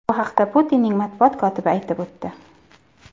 Bu haqda Putinning matbuot kotibi aytib o‘tdi.